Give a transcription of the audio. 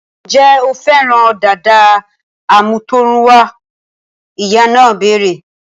Ǹjẹ́ o fẹ́ràn dàda àmútọ̀runwá? Ìyá náà béèrè